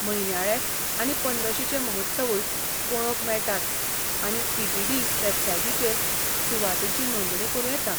म्हयन्याळे आनी पंद्रशीचे महोत्सवूय पळोवंक मेळटात आनी टी. टी. डी. वेबसाइटीचेर सुवातींची नोंदणी करूं येता.